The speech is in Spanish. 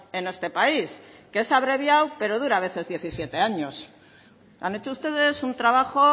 en este país que es abreviado pero dura a veces diecisiete años han hecho ustedes un trabajo